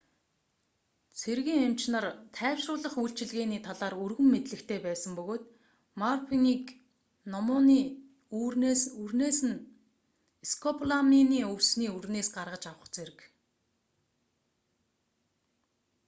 цэргийн эмч нар тайвшруулах үйлчилгээний талаар өргөн мэдлэгтэй байсан бөгөөд морфинийг номууны үрнээс скополаминийг өвсний үрнээс гаргаж авах зэрэг